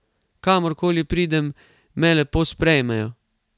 Kamor koli pridem, me lepo sprejmejo.